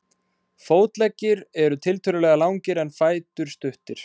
fótleggir eru tiltölulega langir en fætur stuttir